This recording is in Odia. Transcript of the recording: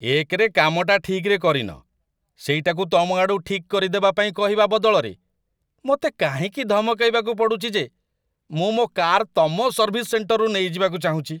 ଏକରେ କାମଟା ଠିକ୍‌ରେ କରିନ, ସେଇଟାକୁ ତୁମଆଡ଼ୁ ଠିକ୍ କରିଦେବା ପାଇଁ କହିବା ବଦଳରେ, ମୋତେ କାହିଁକି ଧମକେଇବାକୁ ପଡ଼ୁଛି ଯେ ମୁଁ ମୋ' କାର୍ ତମ ସର୍ଭିସ୍ ସେଣ୍ଟରରୁ ନେଇଯିବାକୁ ଚାହୁଁଚି?